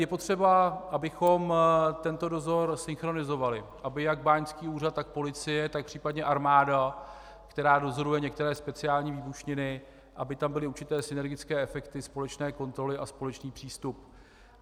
Je potřeba, abychom tento dozor synchronizovali, aby jak báňský úřad, tak policie, tak případně armáda, která dozoruje některé speciální výbušniny, aby tam byly určité synergické efekty společné kontroly a společný přístup.